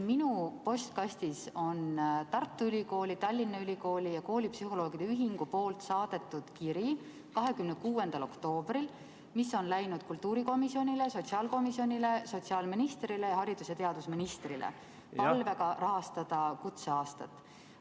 Minu postkastis on Tartu Ülikooli, Tallinna Ülikooli ja koolipsühholoogide ühingu 26. oktoobril saadetud kiri, mis on läinud kultuurikomisjonile, sotsiaalkomisjonile, sotsiaalministrile ning haridus- ja teadusministrile palvega rahastada kutseaastat.